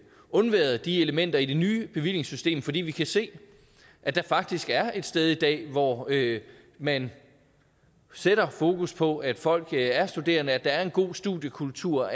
undværet de elementer i det nye bevillingssystem fordi vi kan se at der faktisk er et sted i dag hvor man sætter fokus på at folk er studerende at der er en god studiekultur